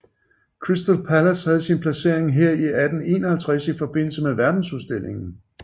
Crystal Palace havde sin placering her i 1851 i forbindelse med verdensudstillingen